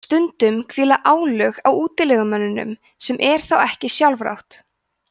stundum hvíla álög á útilegumönnunum sem er þá ekki sjálfrátt